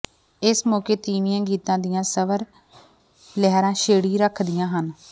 ਇਸ ਮੌਕੇ ਤੀਵੀਆਂ ਗੀਤਾਂ ਦੀਆਂ ਸਵਰ ਲਹਿਰੀਆਂ ਛੇੜੀ ਰੱਖਦੀਆਂ ਹਨ